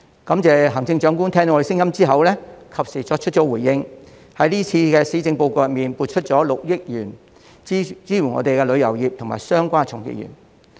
感謝行政長官聽到我們的聲音後及時作出回應，在這次施政報告中撥出6億元支援旅遊業及相關從業員。